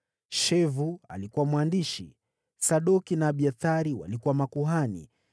Sheva alikuwa mwandishi; Sadoki na Abiathari walikuwa makuhani;